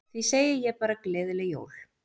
Því segi ég bara gleðileg jól.